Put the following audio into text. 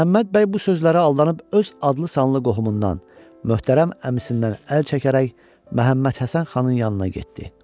Məhəmməd bəy bu sözlərə aldanıb öz adlı-sanlı qohumundan, möhtərəm əmisindən əl çəkərək Məhəmməd Həsən xanın yanına getdi.